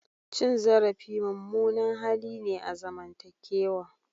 Cin zarafi mummunan hali ne a zamantakewa.